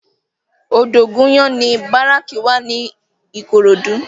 Odogunyan ni báráki wá ni Ikorodu